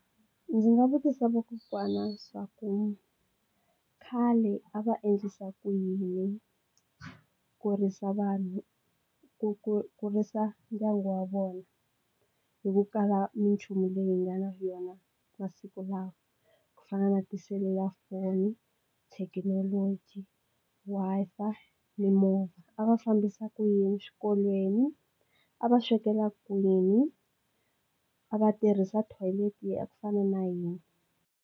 Ndzi nga vutisa vakokwana swaku khale a va endlisa ku yini kurisa vanhu ku ku kurisa ndyangu wa vona hi ku kala minchumu leyi nga na yona masiku lawa ku fana na tiselulafoni thekinoloji Wi-Fi mimovha a va fambisa ku yini xikolweni a va swekela kwini a va tirhisa toilet ya ku fana na yini.